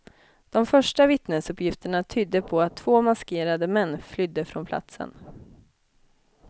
De första vittnesuppgifterna tydde på att två maskerade män flydde från platsen.